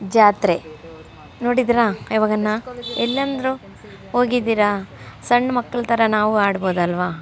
ಜಾತ್ರೆ ನೋಡಿದ್ರ ಯಾವಗನ ಎಲ್ಲಾಂದ್ರೂ ಹೋಗಿದ್ದೀರಾ ಸಣ್ಣ ಮಕ್ಕಳ್ ತರ ನಾವು ಆಡಬಹುದಲ್ಲ --